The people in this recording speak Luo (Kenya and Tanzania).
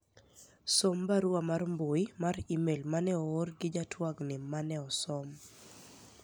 som barua mar mbui mar email mane oor gi jatwagni mane osom